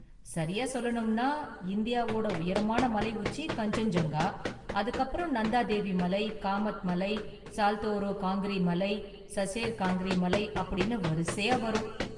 சரியா சொல்லணும்னா, இந்தியாவோட உயரமான​ மலை உச்சி கன்சென்ஜுங்கா, அதுக்கு அப்புறம் நந்தா தேவி மலை, காமத் மலை, சால்தோரோ காங்கிரி மலை, சசேர் காங்கிரி மலை அப்படின்னு வரிசையா வரும்.